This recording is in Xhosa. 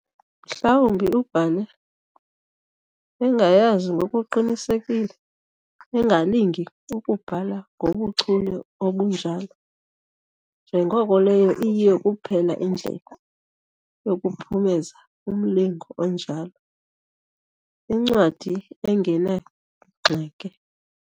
Mhlawumbi ubhale engayazi, ngokuqinisekile engalingi ukubhala ngobuchule obunjalo, njengoko leyo iyiyo kuphela indlela yokuphumeza umlingo onjalo., incwadi engenagxeke.